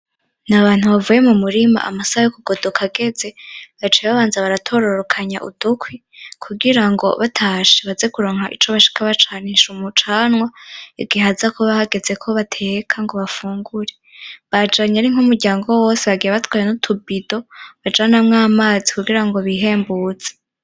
N'abantu bavuye mu murima amasaha yo kugodoka ageze baciye babanza baratororokanya udukwi kugira ngo batashe baze kuronka ico bashika bacanisha umucanwa igihe haza kuba hageze ko bateka ngo bafungure bajanye ari nk'umuryango wose bagiye batwaye n'utubido bajanamwo amazi kugirango bihembure.